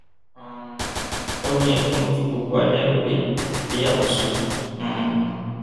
um ó ní ẹkún ló fi gbogbo alẹ ìgbéyàwó sùn um